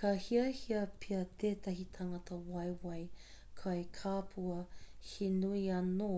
ka hiahia pea tētahi tangata waewae kai kapua he nui āna